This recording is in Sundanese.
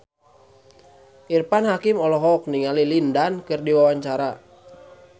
Irfan Hakim olohok ningali Lin Dan keur diwawancara